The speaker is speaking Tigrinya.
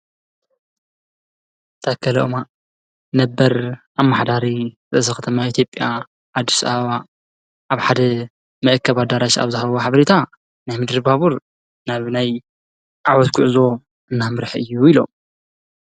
ተከልኦማ ነበር ኣ ማኅዳሪ ተሰኸተማ ኤቲብያ ኣድስሃዋ ኣብ ሓደ መእከባዳራሽ ኣብዝሃብዋ ኃብሪታ ናይ ምድሪባቡር ናብ ናይ ዓወስክዕዞ እናምርኅ እዩ ኢሎም።